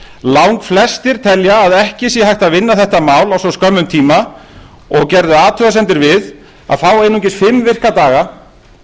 langflestir telja að ekki sé hægt að vinna þetta mál á svo skömmum tíma og gerðu athugasemdir við að fá einungis fimm virka daga